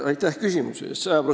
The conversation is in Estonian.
Aitäh küsimuse eest!